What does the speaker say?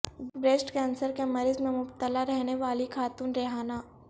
breast cancer کے مرض میں مبتلا رہنے والی خاتون ریحانہ